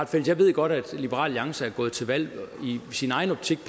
fælles jeg ved godt at liberal alliance er gået til valg på i sin egen optik